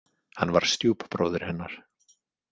Hann var stjúpbróðir hennar.